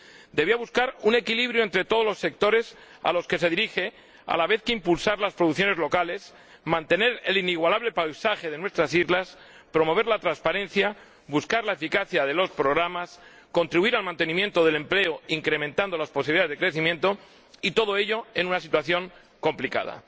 debía buscar un equilibrio entre todos los sectores a los que se dirige, a la vez que impulsar las producciones locales, mantener el inigualable paisaje de nuestras islas, promover la transparencia, buscar la eficacia de los programas, contribuir al mantenimiento del empleo incrementando las posibilidades de crecimiento, y todo ello en una situación complicada.